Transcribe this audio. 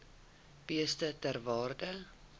beeste ter waarde